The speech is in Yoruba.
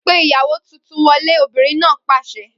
Pe ìyàwó tuntun wọlé! Obìnrin náà pàṣẹ.